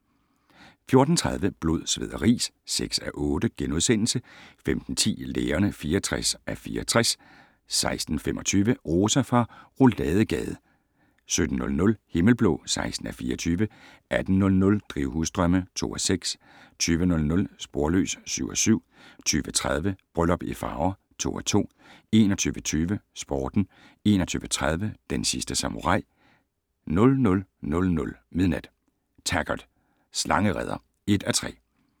14:30: Blod, sved og ris (6:8)* 15:10: Lægerne (64:64) 16:25: Rosa fra Rouladegade 17:00: Himmelblå (16:24) 18:00: Drivhusdrømme (2:6) 20:00: Sporløs (7:7) 20:30: Bryllup i Farver (2:2) 21:20: Sporten 21:30: Den sidste samurai 00:00: Taggart: Slangereder (1:3)